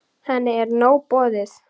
Henni er nóg boðið.